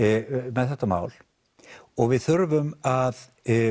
með þetta mál og við þurfum að